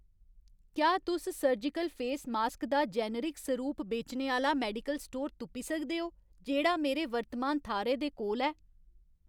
क्या तुस surgical face mask दा जेनेरिक सरूप बेचने आह्‌ला मेडिकल स्टोर तुप्पी सकदे ओ जेह्‌ड़ा मेरे वर्तमान थाह्‌रै दे कोल ऐ